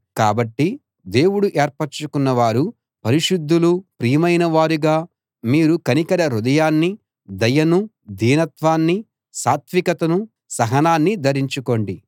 కాబట్టి దేవుడు ఏర్పరచుకున్న వారూ పరిశుద్ధులూ ప్రియమైన వారుగా మీరు కనికర హృదయాన్నీ దయనూ దీనత్వాన్నీ సాత్వికతనూ సహనాన్నీ ధరించుకోండి